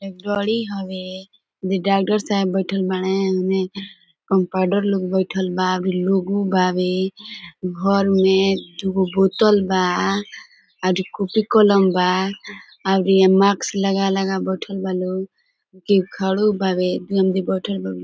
Employee हवे जे doctor साहेब बइठल बाड़े ओने कम्पाउंडर लोग बइठल बा भी लोगो बावे घर में दुगो बोत्तल बा ओरी कूपी कलम बा और इहे मैक्स लगा लगा बइठल लोग केहु खड़ो बावे दू आमदी बइठल बावे।